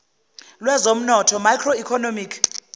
lwezomnotho macro economic